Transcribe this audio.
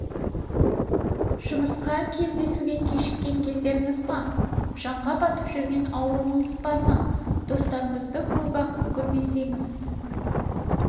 жұмысқа кездесуге кешіккен кездеріңіз болды ма жанға батып жүрген ауруыңыз бар ма достарынызды көп уақыт көрмесеңіз